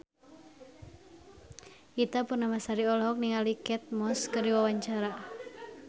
Ita Purnamasari olohok ningali Kate Moss keur diwawancara